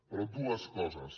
però dues coses